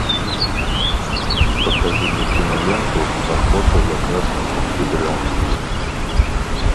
покажи мне киноленту охота за красным октябрем